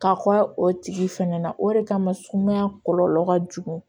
Ka kɔ o tigi fɛnɛ na o de kama sumaya kɔlɔlɔ ka jugu